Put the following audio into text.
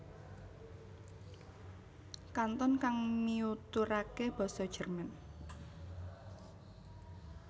Kanton kang miuturake basa Jerman